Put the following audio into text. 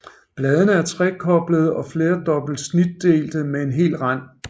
Bladene er trekoblede og flerdobbelt snitdelte med hel rand